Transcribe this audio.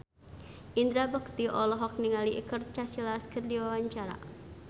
Indra Bekti olohok ningali Iker Casillas keur diwawancara